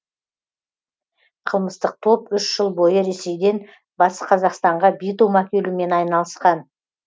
қылмыстық топ үш жыл бойы ресейден батыс қазақстанға битум әкелумен айналысқан